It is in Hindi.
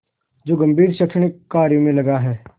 जो गंभीर शैक्षणिक कार्यों में लगा है